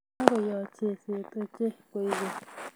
Kagoyoch seset ochei koek keny